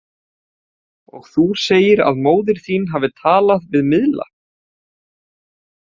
Og þú segir að móðir þín hafi talað við miðla?